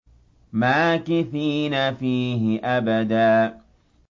مَّاكِثِينَ فِيهِ أَبَدًا